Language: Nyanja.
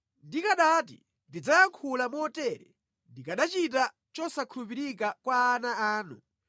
Ndikanati, “Ndidzayankhula motere,” ndikanachita chosakhulupirika kwa ana anu.